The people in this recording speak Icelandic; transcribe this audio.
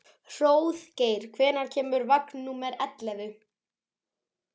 Hróðgeir, hvenær kemur vagn númer ellefu?